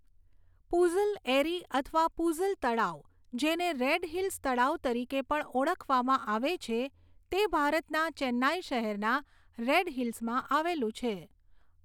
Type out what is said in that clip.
પુઝલ એરી અથવા પુઝલ તળાવ, જેને રેડ હિલ્સ તળાવ તરીકે પણ ઓળખવામાં આવે છે, તે ભારતના ચેન્નાઈ શહેરના રેડ હિલ્સમાં આવેલું છે.